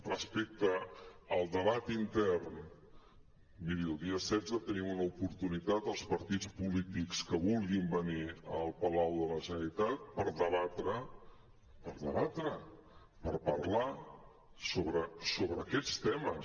respecte al debat intern miri el dia setze tenim una oportunitat els partits polítics que vulguin venir al palau de la generalitat per debatre per debatre per parlar sobre aquests temes